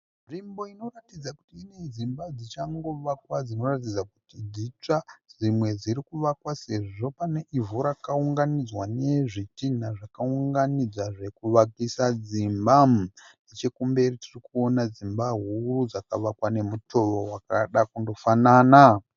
Nzvimbo inoratidza kuti ine dzimba dzichangovakwa dzinoratidza kuti dzitsva. Dzimwe dziri kuvakwa sezvo pane ivhu rakaunganidzwa nezvitinha zvakaunganidzwa zvekuvakisa dzimba. Nechekumberi tirikuona dzimba huru dzakavakwa nemutowo wakada kunofanana.